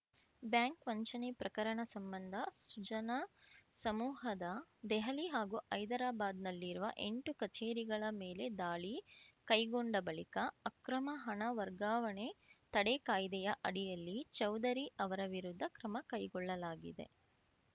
bank ವಂಚನೆ ಪ್ರಕರಣ ಸಂಬಂಧ ಸುಜನಾ ಸಮೂಹದ ದೆಹಲಿ ಹಾಗೂ ಹೈದರಾಬಾದ್‌ನಲ್ಲಿರುವ ಎಂಟು ಕಚೇರಿಗಳ ಮೇಲೆ ದಾಳಿ ಕೈಗೊಂಡ ಬಳಿಕ ಅಕ್ರಮ ಹಣ ವರ್ಗಾವಣೆ ತಡೆ ಕಾಯ್ದೆಯ ಅಡಿಯಲ್ಲಿ ಚೌಧರಿ ಅವರ ವಿರುದ್ಧ ಕ್ರಮ ಕೈಗೊಳ್ಳಲಾಗಿದೆ